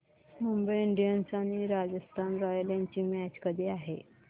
Mumbai Indians आणि Rajasthan Royals यांची match कधी आहे